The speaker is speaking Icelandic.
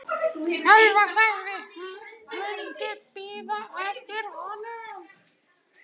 Elvar sagðist myndu bíða eftir honum.